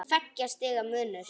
Tveggja stiga munur.